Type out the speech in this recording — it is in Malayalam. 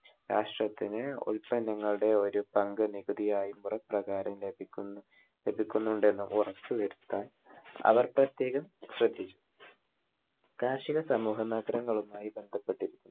രാഷ്ട്രത്തിന് ഉൽപന്നങ്ങളുടെ ഒരു പങ്ക് നികുതിയായി മുറ പ്രകാരം ലഭിക്കുന്നുണ്ടെന്ന് ഉറപ്പുവരുത്താൻ അവർ പ്രത്യേകം ശ്രദ്ധിച്ചു. കാർഷിക സമൂഹമാത്രങ്ങളുമായി ബന്ധപ്പെട്ടിരുന്നു.